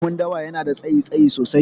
Rakumin dawa yanada tsayi, tsayi sosai